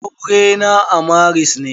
Aure na a maris ne.